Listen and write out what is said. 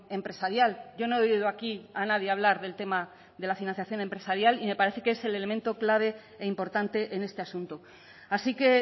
empresarial yo no he oído aquí a nadie hablar del tema de la financiación empresarial y me parece que es el elemento clave e importante en este asunto así que